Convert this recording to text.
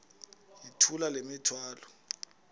yithula le mithwalo